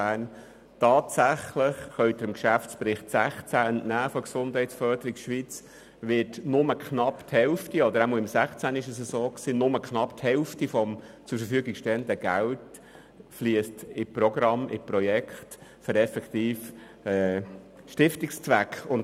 Tatsächlich können Sie dem Geschäftsbericht 2016 der Gesundheitsförderung Schweiz entnehmen, dass nur knapp die Hälfte des zur Verfügung stehenden Geldes in Programme und Projekte für den effektiven Stiftungszweck geflossen ist.